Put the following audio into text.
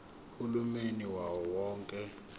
uhulumeni wawo wonke